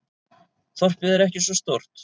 Þorpið er ekki svo stórt.